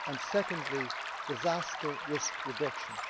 Secondly, disaster risk reduction.